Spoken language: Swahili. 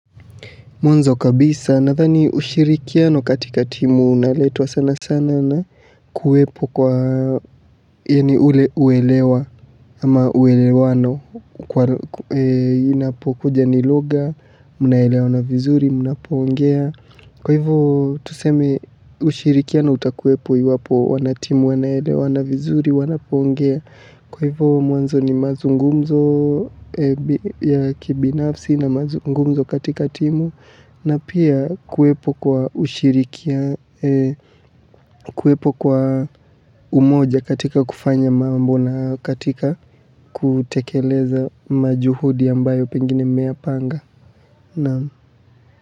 Mwanzo kabisa nadhani ushirikiano katika timu unaletwa sana sana na kuwepo kwa yaani ule uelewa ama uelewano kwa inapokuja ni lugha, mnaelewana vizuri, mnapoongea. Kwa hivyo tuseme ushirikiano utakuwepo iwapo wanatimu, wanaelewana vizuri, wanapoongea. Kwa hivyo mwanzo ni mazungumzo ya kibinafsi na mazungumzo katika timu. Na pia kuwepo kwa ushirikia, kuwepo kwa umoja katika kufanya mambo na katika kutekeleza majuhudi ambayo pengine mmeyapanga.